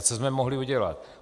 A co jsme mohli udělat?